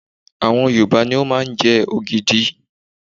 àwọn Yorùbá ní o ma nje ogidi